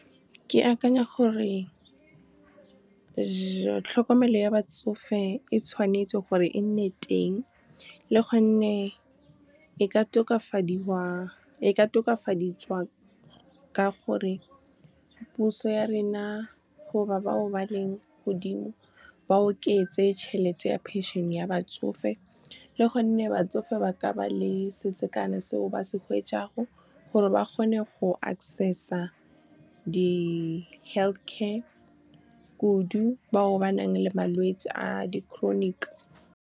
Ke akanya gore tlhokomelo ya batsofe e tshwanetse gore e nne teng, le gonne e ka tokafaditswa ka gore puso ya rena goba bao ba leng godimo ba oketse tšhelete ya phenšene ya batsofe, le gonne batsofe ba ka ba le setsekane seo ba se gore ba kgone go access-a di-health care kudu bao ba nang le malwetse a di-chronic. Ke akanya gore tlhokomelo ya batsofe e tshwanetse gore e nne teng, le gonne e ka tokafaditswa ka gore puso ya rena goba bao ba leng godimo ba oketse tšhelete ya phenšene ya batsofe, le gonne batsofe ba ka ba le setsekane seo ba se gore ba kgone go access-a di-health care kudu bao ba nang le malwetse a di-chronic.